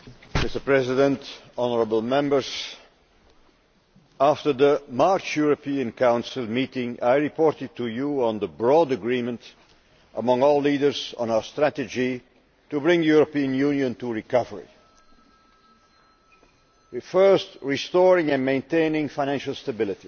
Mr President, honourable Members, after the March European Council meeting I reported to you on the broad agreement among all leaders on our strategy to bring the European Union to recovery first, restoring and maintaining financial stability